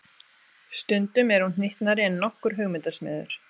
Stundum er hún hnyttnari en nokkur hugmyndasmiður.